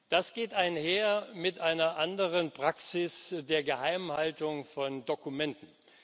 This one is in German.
Das geht einher mit einer anderen Praxis der Geheimhaltung von Dokumenten.